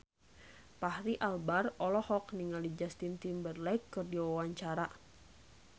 Fachri Albar olohok ningali Justin Timberlake keur diwawancara